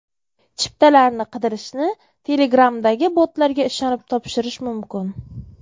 Chiptalarni qidirishni Telegram’dagi botlarga ishonib topshirish mumkin.